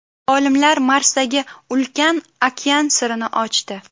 Olimlar Marsdagi ulkan okean sirini ochdi.